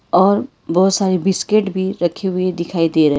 और बहुत सारे बिस्किट भी रखे हुए दिखाई दे रहे--